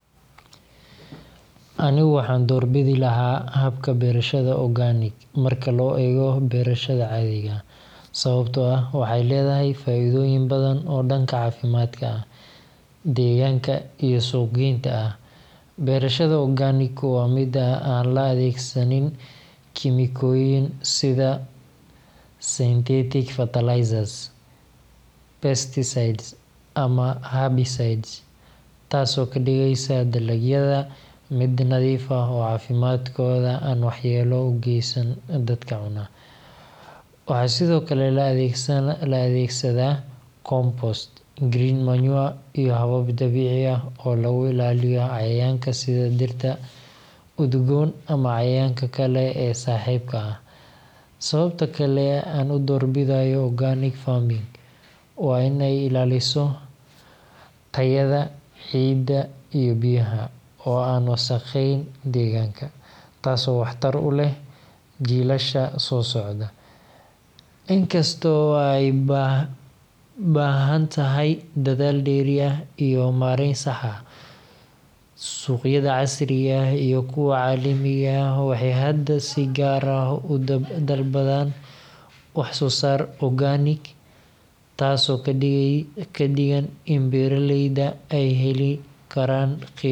Anigu waxaan doorbidi lahaa habka beerashada organic marka loo eego beerashada caadiga ah, sababtoo ah waxay leedahay faa’iidooyin badan oo dhanka caafimaadka, deegaanka, iyo suuqgeynta ah. Beerashada organic waa mid aan la adeegsanin kiimikooyin sida synthetic fertilizers, pesticides, ama herbicides, taasoo ka dhigaysa dalagyada mid nadiif ah oo caafimaadkooda aan waxyeello u geysan dadka cuna. Waxaa sidoo kale la adeegsadaa compost, green manure, iyo habab dabiici ah oo lagu ilaaliyo cayayaanka sida dhirta udgoon ama cayayaanka kale ee saaxiibka ah. Sababta kale aan u doorbidayo organic farming waa in ay ilaaliso tayada ciidda iyo biyaha, oo aan wasakhayn deegaanka, taasoo waxtar u leh jiilasha soo socda. In kasta oo ay u baahan tahay dadaal dheeri ah iyo maarayn sax ah, suuqyada casriga ah iyo kuwa caalamiga ah waxay hadda si gaar ah u dalbadaan wax-soo-saar organic ah, taasoo ka dhigan in beeraleyda ay heli karaan qiimo sarreeya.